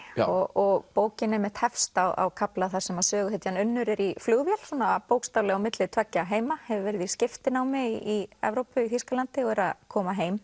og bókin einmitt hefst á kafla þar sem að söguhetjan Unnur er í flugvél svona bókstaflega á milli tveggja heima hefur verið í skiptinámi í Evrópu Þýskalandi og er að koma heim